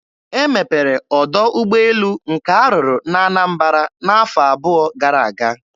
E mepere ọdọ ụgbọelu nke a rụrụ na Anambara n'afọ abụọ gara aga.